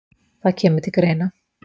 Það kemur til greina